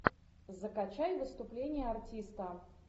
закачай выступление артиста